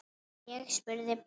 Ég spurði bara.